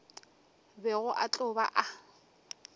bego a tlo ba a